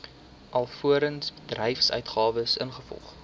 alvorens voorbedryfsuitgawes ingevolge